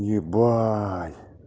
ебать